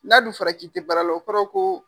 N'a dun fɔra k'i tɛ baara la o kɔrɔ ko.